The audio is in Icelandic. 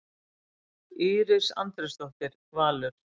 Íris Andrésdóttir, Valur.